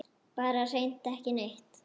Bara hreint ekki neitt.